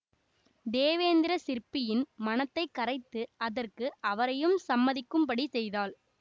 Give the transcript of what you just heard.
தேவேந்திர சிற்பியின் மனத்தை கரைத்து அதற்கு அவரையும் சம்மதிக்கும்படி செய்தாள்